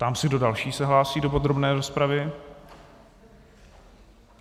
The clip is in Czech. Ptám se, kdo další se hlásí do podrobné rozpravy.